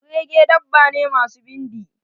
kurege dabba ne masu bindi.